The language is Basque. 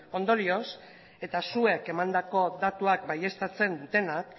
ondorioz eta zuek emandako datuak baieztatzen dutenak